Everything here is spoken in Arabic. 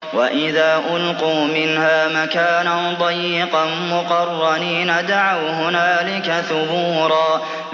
وَإِذَا أُلْقُوا مِنْهَا مَكَانًا ضَيِّقًا مُّقَرَّنِينَ دَعَوْا هُنَالِكَ ثُبُورًا